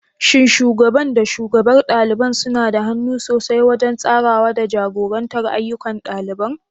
Shin Shugaban da shugabar ɗaliban suna da hannu sosai wajen tsarawa da jagorantar ayyukan ɗaliban?